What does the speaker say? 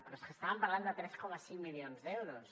però és que estàvem parlant de tres coma cinc milions d’euros